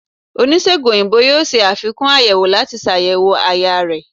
onisegùn oyinbo yóò ṣe afikún ayèwó lati ṣayẹwo àyà rẹ